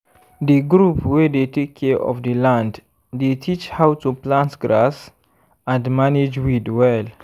the group wey dey take care of the land dey teach how to plant grass and manage weed well